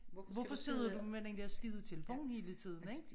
Hvorfor sidder du med den dér skide telefon hele tiden ik?